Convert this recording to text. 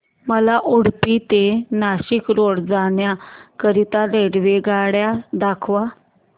मला उडुपी ते नाशिक रोड जाण्या करीता रेल्वेगाड्या दाखवा